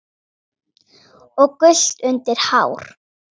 og gult undir hár.